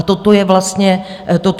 A toto je vlastně první krok.